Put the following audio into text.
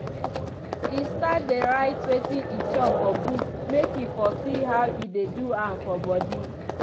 e start dey write wetin e chop for book make e for see how e dey do am for body.